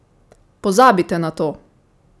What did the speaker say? Pozabite na to!